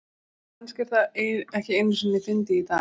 Kannski er það ekki einu sinni fyndið í dag.